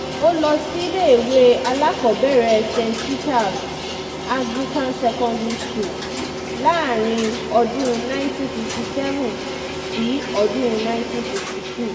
ó lọ síléèwé alákọ̀ọ́bẹ̀rẹ̀ st peters anglican secondary school láàrin ọdún 1957 sí ọdún 1962